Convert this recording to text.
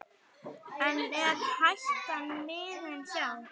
En er hættan liðin hjá?